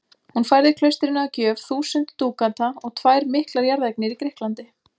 Hún færði klaustrinu að gjöf þúsund dúkata og tvær miklar jarðeignir í Grikklandi.